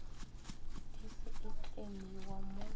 e se e kleimiwa mo